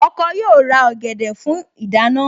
Ọkọ yóò ra ọ̀gẹ̀dẹ̀ fún ìdáná